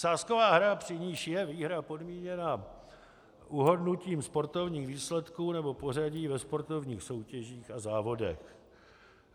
Sázková hra, při níž je výhra podmíněna uhodnutím sportovních výsledků nebo pořadí ve sportovních soutěžích a závodech.